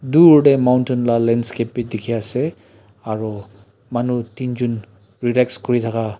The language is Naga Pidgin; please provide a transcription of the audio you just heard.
dur tae mountain la landscape bidikhiase aro manu teenjon relax kurithaka--